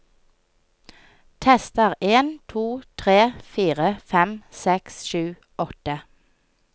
Tester en to tre fire fem seks sju åtte